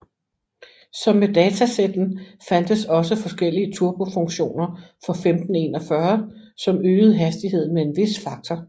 Som med datasetten fandtes også forskellige turbo funktioner for 1541 som øgede hastigheden med en vis faktor